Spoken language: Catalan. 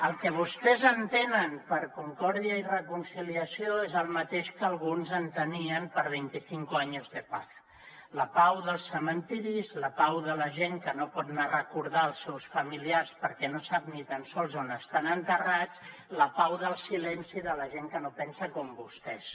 el que vostès entenen per concòrdia i reconciliació és el mateix que alguns entenien per veinticinco años de paz la pau dels cementiris la pau de la gent que no pot anar a recordar els seus familiars perquè no sap ni tan sols on estan enterrats la pau del silenci de la gent que no pensa com vostès